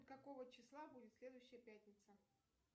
какого числа будет следующая пятница